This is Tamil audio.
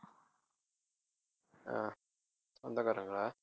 அஹ் சொந்தக்காரங்களா